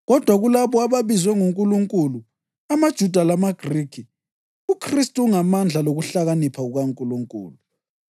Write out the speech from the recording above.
kodwa kulabo ababizwe nguNkulunkulu, amaJuda lamaGrikhi, uKhristu ungamandla lokuhlakanipha kukaNkulunkulu.